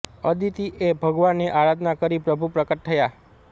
અદિતિ એ ભગવાનની આરાધના કરી પ્રભુ પ્રકટ થયા